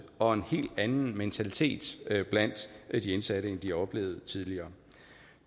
og en helt anden mentalitet blandt de indsatte end de har oplevet tidligere